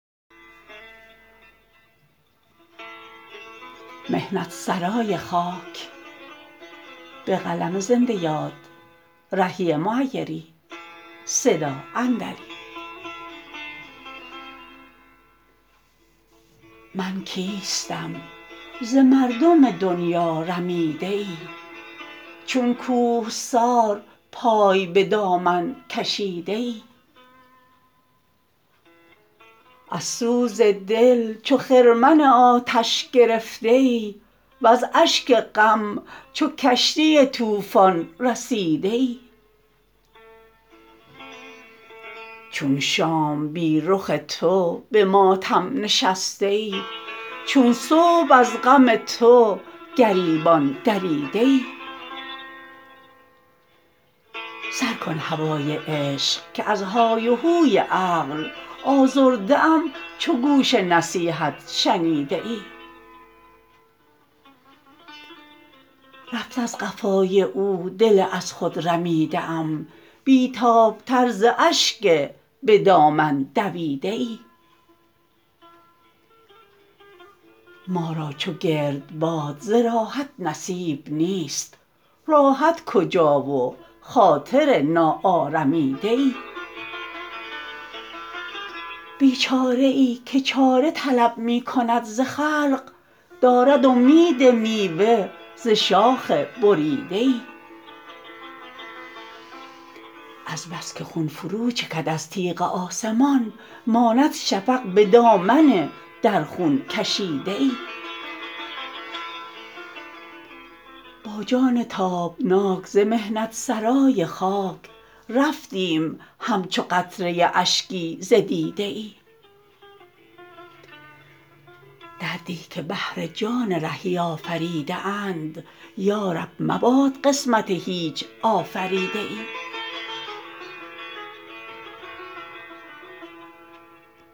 من کیستم ز مردم دنیا رمیده ای چون کوهسار پای به دامن کشیده ای از سوز دل چو خرمن آتش گرفته ای وز اشک غم چو کشتی طوفان رسیده ای چون شام بی رخ تو به ماتم نشسته ای چون صبح از غم تو گریبان دریده ای سر کن نوای عشق که از های و هوی عقل آزرده ام چو گوش نصیحت شنیده ای رفت از قفای او دل از خود رمیده ام بی تاب تر ز اشک به دامن دویده ای ما را چو گردباد ز راحت نصیب نیست راحت کجا و خاطر ناآرمیده ای بیچاره ای که چاره طلب می کند ز خلق دارد امید میوه ز شاخ بریده ای از بس که خون فرو چکد از تیغ آسمان ماند شفق به دامن در خون کشیده ای با جان تابناک ز محنت سرای خاک رفتیم همچو قطره اشکی ز دیده ای دردی که بهر جان رهی آفریده اند یا رب مباد قسمت هیچ آفریده ای